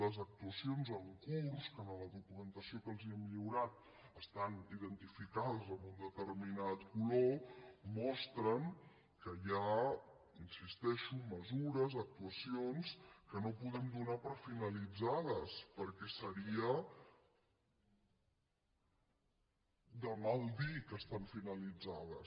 les actuacions en curs que en la documentació que els hem lliurat estan identificades amb un determinat color mostren que hi ha hi insisteixo mesures actuacions que no podem donar per finalitzades perquè seria de mal dir que estan finalitzades